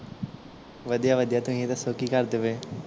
ਵਧੀਆ ਵਧੀਆ ਤੁਸੀਂ ਦੱਸੋ ਕੀ ਕਰਦੇ ਪਏ?